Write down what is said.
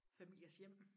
Familiers hjem